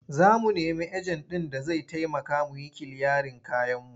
Za mu nemi ejen ɗin da zai taimaka mu yi kiliyarin kayanmu.